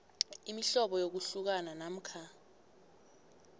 imihlobo yokuhlukana namkha